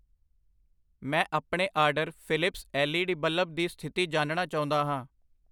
ਮੈਂ ਆਪਣੇ order Philips L E D bulb ਦੀ ਸਥਿਤੀ ਜਾਣਨਾ ਚਾਹੁੰਦਾ ਹਾਂ I